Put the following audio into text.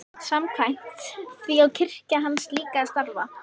Samkvæmt því á kirkja hans líka að starfa.